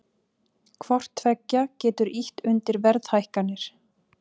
Hvort tveggja getur ýtt undir verðhækkanir.